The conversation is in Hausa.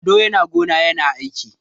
Ado yana gona yana aiki.